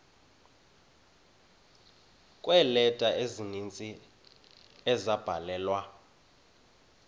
kweeleta ezininzi ezabhalelwa